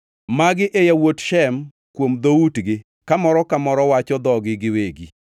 Magi e yawuot Shem kuom dhoutgi ka moro ka moro wacho dhogi giwegi.